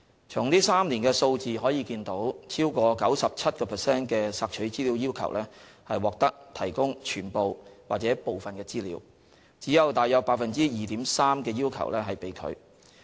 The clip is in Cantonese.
從這3年的數字可見，超過 97% 的索取資料要求獲提供全部或部分資料，只有約 2.3% 的要求被拒。